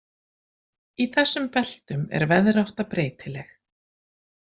Í þessum beltum er veðrátta breytileg.